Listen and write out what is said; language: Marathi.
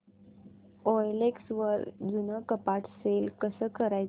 ओएलएक्स वर जुनं कपाट सेल कसं करायचं